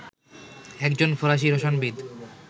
একজন ফরাসি রসায়নবিদ